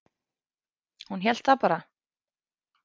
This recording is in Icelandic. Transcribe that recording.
Hún hélt það bara.